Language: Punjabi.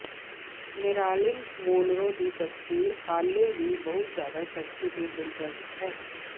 ਮੈਰਾਲਿਨ ਮੋਨਰੋ ਦੀ ਤਸਵੀਰ ਹਾਲੇ ਵੀ ਬਹੁਤ ਜ਼ਿਆਦਾ ਸੈਕਸੀ ਅਤੇ ਦਿਲਚਸਪ ਹੈ